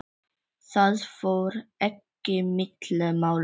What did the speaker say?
Það fór ekki milli mála.